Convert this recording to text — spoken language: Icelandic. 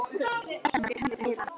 Þess vegna fékk Henrik að heyra það.